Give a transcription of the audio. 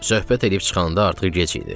Söhbət edib çıxanda artıq gec idi.